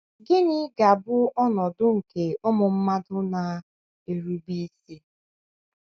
Gịnị ga - abụ ọnọdụ nke ụmụ mmadụ na - erube isi?